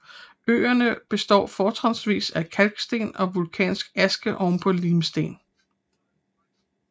Øerne består fortrinsvis af kalksten og vulkansk aske oven på limsten